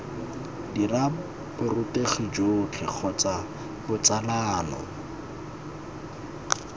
dira borutegi jotlhe kgotsa botsalano